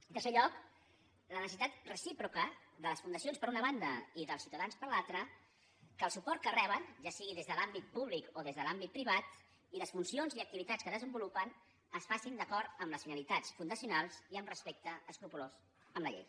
en tercer lloc la necessitat recíproca de les fundacions per una banda i dels ciutadans per l’altra que el suport que reben ja sigui des de l’àmbit públic o des de l’àmbit privat i les funcions i activitats que desenvolupen es facin d’acord amb les finalitats fundacionals i amb respecte escrupolós per la llei